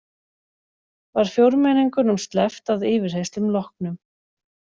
Var fjórmenningunum sleppt að yfirheyrslum loknum